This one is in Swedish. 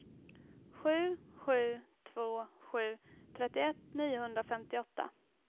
sju sju två sju trettioett niohundrafemtioåtta